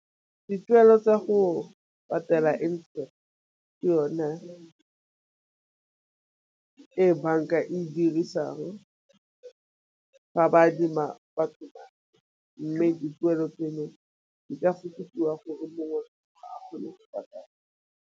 Dituelo tsa go patela interest ke yone e banka e dirisang ga ba adima batho madi, mme dituelo tseno di ka fokodiwa gore mongwe a kgone go patela.